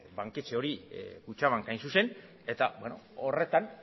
banketxe hori kutxabank hain zuzen eta horretan